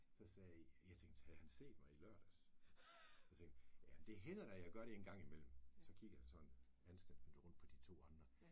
Så sagde jeg tænkte havde han set mig i lørdags så tænkte jamen det hænder da jeg gør det engang imellem så kiggede han sådan anstændigt rundt på de to andre